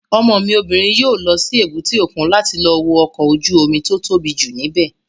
Ọmọ mi obìnrin yóò lọ sí èbúté òkun láti lọ wo ọkọ̀ ojú-omi tó tóbi jù ní bẹ̀